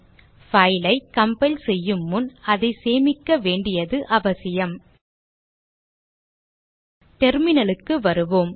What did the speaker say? file ஐ compile செய்யும் முன் அதை சேமிக்க வேண்டியது அவசியம் Terminal க்கு வருவோம்